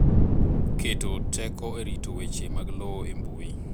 Keto teko e rito weche mag lowo e mbui.